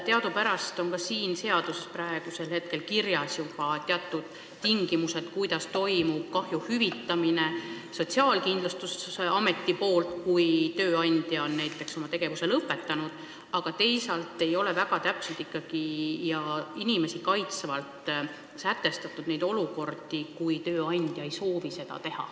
Teadupärast on ka siin seaduses praegu kirjas juba teatud tingimused, kuidas toimub kahju hüvitamine Sotsiaalkindlustusameti poolt, kui tööandja on näiteks oma tegevuse lõpetanud, aga teisalt ei ole ikkagi väga täpselt ja inimesi kaitsvalt sätestatud neid olukordi, kus tööandja ei soovi hüvitada.